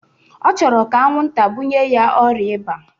Ọ chọrọ ka anwụnta bunye ya ọrịa ịba